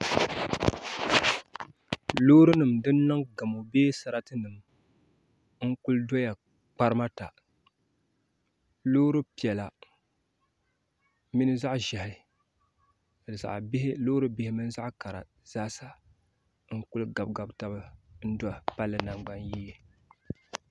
Loori nim din niŋ gamo bee sarati nim n kuli doya kparima ta loori piɛla mini zaɣ ʒiɛhi ni loori bihi mini zaɣ kara zaaha n kuli gabi gabi taba n do palli nangbani yee